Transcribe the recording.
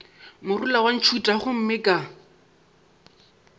morula wa ntšhutha gomme ka